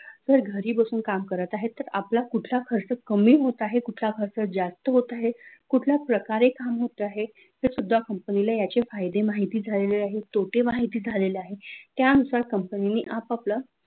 तर घरी बसून काम करत आहेत तर आपला कुठला खर्च कमी कमी होत आहे कुठला खर्च जास्त होत आहे कुठल्या प्रकारे काम होत आहे ते सुद्धा याच company ला फायदे माहिती झालेले आहे तोटे माहिती झालेले आहे त्यानुसार कंपनीने आपआपलं